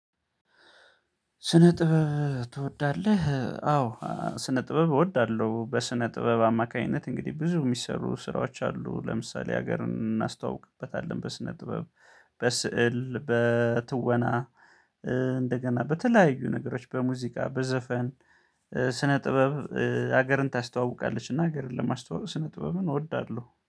ስነ ጥበብ ትወዳለህ? አዎ ስነ ጥበብ እወዳለሁ። በስነ ጥበብ አማካኝነት እንግዲህ ብዙ የሚሰሩ ስራዎች አሉ። ለምሳሌ ሀገር እናስተዋውቅበታለን በስነ ጥበብ በስዕል በትወና። እንደገና በተለያዩ ነገሮች በሙዚቃ በዘፈን። ስነ ጥበብ ሀገርን ታስተዋውቃለች። እና ሀገርን ለማስተዋወቅ ስነ ጥበብ እወዳለሁ